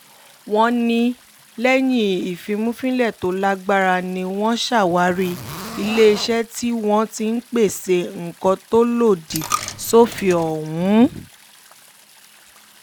wọ́n ní lẹ́yìn ìfìmùfínlẹ̀ tó lágbára ni wọ́n ṣàwárí iléeṣẹ́ tí wọ́n ti ń pèsè nǹkan tó lòdì sófin ọ̀hún